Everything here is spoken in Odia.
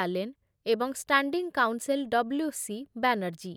ଆଲେନ ଏବଂ standing counsel W C Banerjee